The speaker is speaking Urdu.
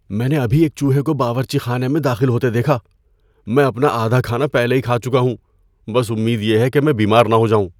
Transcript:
میں نے ابھی ایک چوہے کو باورچی خانے میں داخل ہوتے دیکھا۔ میں اپنا آدھا کھانا پہلے ہی کھا چکا ہوں۔ بس امید یہ ہے کہ میں بیمار نہ ہو جاؤں۔